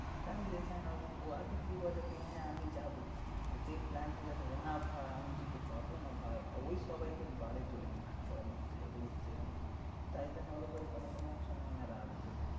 টাকা দিতে চায় না ও আগে কি বলে কি হ্যাঁ আমি যাবো। যেই plan হয়ে যাবে না ভাই আমি যেতে পারবো না ভাই। আর ওই সবাইকে তোলে কি চো ঘুরতে যাবো ঘুরতে যাবো। তাই জন্য ওর উপরে কোনো কোনো সময় আমার রাগ ওঠে।